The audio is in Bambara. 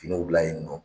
Finiw dilan yen nɔ